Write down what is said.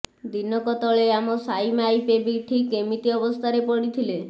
ଦିନକ ତଳେ ଆମ ସାଇ ମାଇପେ ବି ଠିକ୍ ଏମିତି ଅବସ୍ଥାରେ ପଡ଼ିଥିଲେ